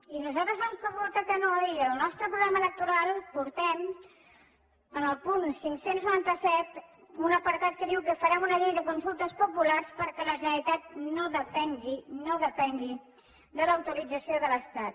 i nosaltres vam votar que no i en el nostre programa electoral portem en el punt cinc cents i noranta set un apartat que diu que farem una llei de consultes populars perquè la generalitat no depengui no depengui de l’autorització de l’estat